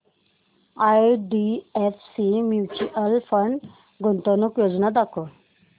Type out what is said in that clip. IDFC mutual fund गुंतवणूक योजना दाखव